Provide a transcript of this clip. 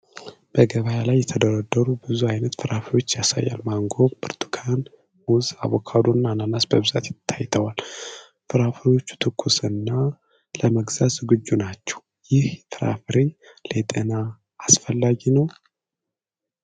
በገበያ ላይ የተደረደሩ ብዙ ዓይነት ፍራፍሬዎችን ያሳያል። ማንጎ፣ ብርቱካን፣ ሙዝ፣ አቮካዶ እና አናናስ በብዛት ታይተዋል። ፍራፍሬዎቹ ትኩስና ለመግዛት ዝግጁ ናቸው። ይህ ፍራፍሬ ለጤና አስፈላጊ ነው?